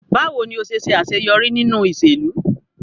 Bawo ni o ṣe ṣaṣeyọri ninu iṣelu?